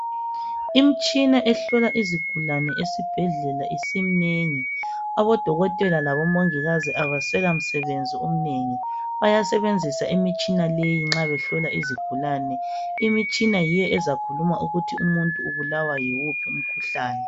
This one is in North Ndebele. Imitshina ehlola izigulane esibhendlela isiminengi abo dokotela labongikazi abesela msebenzi omnengi bayasebesebenzisa imitshina leyi nxa behlola izigulane imitshina yiyo ezakhuluma ukuthi umuntu ubulawa yiwuphi umkhuhlane.